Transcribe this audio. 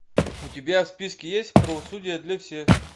у тебя в списке есть правосудие для всех